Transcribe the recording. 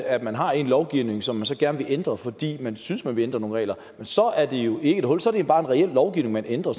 at man har en lovgivning som man så gerne vil ændre fordi man synes man vil ændre nogle regler og så er det jo ikke et hul så er det jo bare en reel lovgivning man ændrer